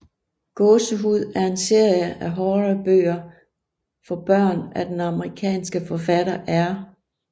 Gåsehud er en serie af horrorbøger for børn af den amerikanske forfatter R